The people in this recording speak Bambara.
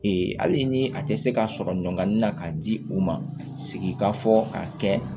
hali ni a tɛ se ka sɔrɔ ɲɔn na k'a di u ma sigikafɔ ka kɛ